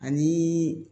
Ani